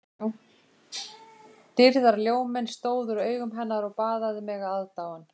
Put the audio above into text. Dýrðarljóminn stóð úr augum hennar og baðaði mig aðdáun